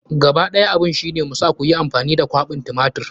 Gaba ɗaya abun shi ne mu sa koyi amfani da kwaɓin tumatir.